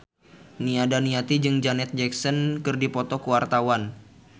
Nia Daniati jeung Janet Jackson keur dipoto ku wartawan